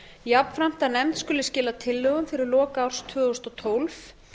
jafnframt að nefnd skuli skila tillögum fyrir lok árs tvö þúsund og tólf